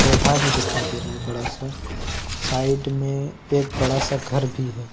पौधा भी दिखाई दे रहा है बड़ा सा साइड में एक बड़ा सा घर भी है।